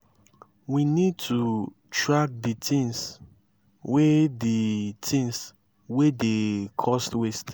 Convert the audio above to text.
we need to track di things wey di things wey dey cause waste